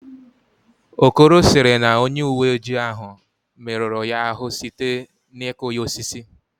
Okoro sịrị na onye uweojii ahụ merụrụ ya ahụ site n'ịkụ ya osisi